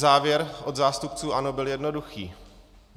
Závěr od zástupců ANO bych jednoduchý.